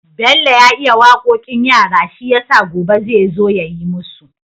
Bello ya iya waƙoƙin yara shiyasa gobe zai zo yayi musu